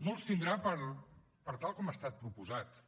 no els tindrà per tal com ha estat proposat